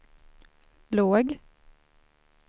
låg